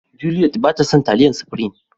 Juliet ba ta son taliyan supirim.